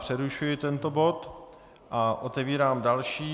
Přerušuji tento bod a otevírám další.